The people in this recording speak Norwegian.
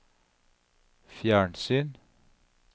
fjernsyn